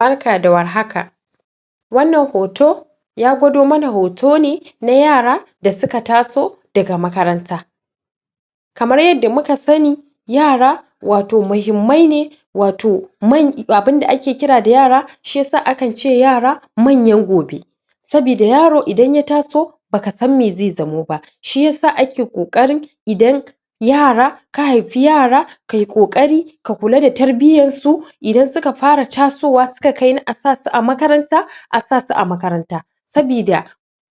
Barka da warhaka wannan hoto ya gwado mana hoto ne na yara da suka taso daga makaranta kamar yadda muka sani yara wato mahimmai ne wato abinda ake kira da yara shiyasa akan ce yara manyan gobe sabida yaro idn ya taso baka san me zai zamo ba shiyasa ake ƙoƙarin idan yara ka haifi yara ka yi ƙoƙari ka kula da tarbiyyansu idan suka fara tasowa suka kai na a sa su a makaranta a sasu a makaranta sabida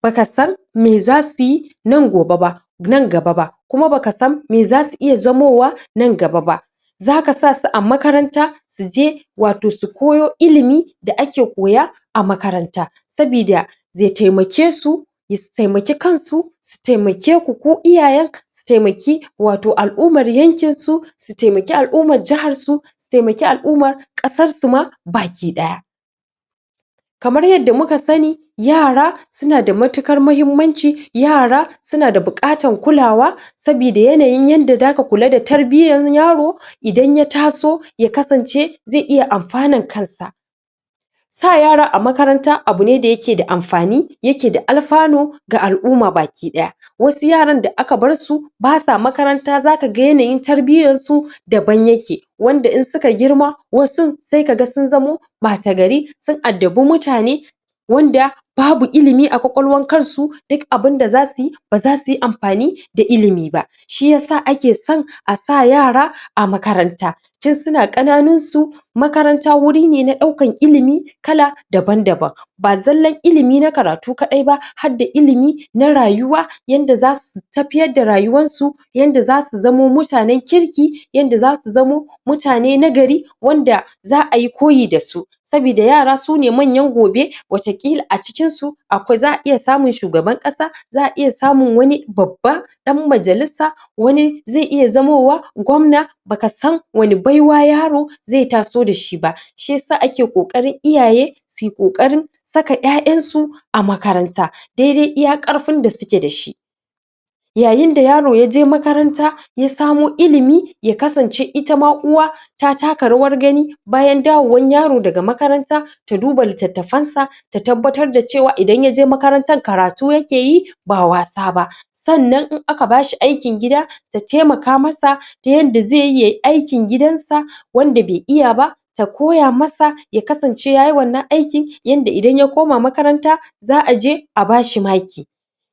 baka san me za su yi nan gobe ba nan gaba ba kuma bakasan me za su iya zamowa nan gaba ba zaka sa su a makaranta su je wato su koyo ilimi da ake koya a makaranta sabida zai taimakesu da su taimaki kansu su taimakeku ku iyayen su taimaki wato al'umar yankinsu su taimaki al'umar jaharsu su taimaki al'umar ƙasarsu ma baki-ɗaya kamar yanda muka sani yara suna da matukar mahimmanci suna da buƙatan kulawa sabida yanayin yanda zaka kula da tarbiyyan yaro idan ya taso ya kasance zai iya amfanar kansa sa yara a makaranta abu ne da yake yake da amfani yake da alfanu ga al'uma baki-ɗaya asu yaran da aka barsu basa makaranta zaka ga yanayin tarbiyyansu daban yake wanda in suka girma wasun ai ka ga sun zamo ɓata-gari sun addabi mutane wanda babu ilimi a ƙwaƙwalwar kansu duk abinda za su yi ba za su yi amfani da ilimi ba shiyasa ake san a sa yara a makaranta tun suna ƙananunsu makranta wuri ne na ɗaukan ilimi kala daban-daban ba zallan ilimi na karatu kaɗai ba har da ilimi na rayuwa yanda za su tafiyar da rayuwarsu yanda za su zamo mutanen kirki yanda za su zamo mutane na gari wanda za a yi koyi da su saboda yara su ne manyan gobe wataƙila a cikinsu za a iya samun shugaban ƙasa za a iya samun wani baba ɗan majalisa wani zai iya zamowa gwamna baka san wani baiwa yaro zai taso da shi ba shi yasa ake ƙoƙari iyaye su yi ƙoƙarin saka ƴaƴansu a makaranta daidai iya ƙarfin da suke da shi yayin da yaro ya je makaranta ya samo ilimi ya kasance itama uwa ta taka rawar gani bayan dawowan yaro daga makaranta ta duba littattafansa ta tabbatar da cewa idan ya je makarantan karatu yake yi ba wasa ba sannan in aka bashi aikin gida ta taimaka masa ta yanda zai yi yayi aikin gidansa wanda bai iya ba ta koya masa ya kasance yayi wannan aiki yanda idan ya koma makaranta za a je a bashi maki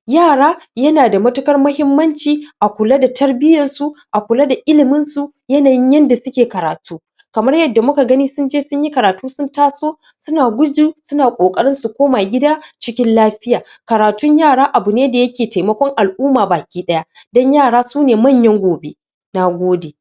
yara yana da matuƙar mahimmanci a kula da tarbiyyarsu a kula da iliminsu yanayin yanda suke kratu kamar yanda muka gani sun je sun yi karatu sun taso suna gujin suna ƙoƙarin su koma gida cikin lafiya karatun yara abu ne da yake taimakon al'uma baki-ɗaya dan yara su ne manyan gobe na gode